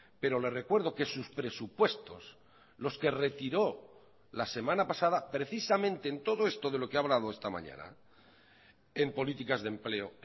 pero le recuerdo que sus presupuestos los que retiró la semana pasada precisamente en todo esto de lo que ha hablado esta mañana en políticas de empleo